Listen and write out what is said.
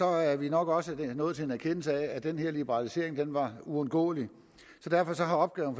er vi nok også nået til en erkendelse af at den her liberalisering var uundgåelig så derfor har opgaven